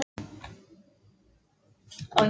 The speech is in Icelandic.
Ég veit að ég hef verið broguð manneskja.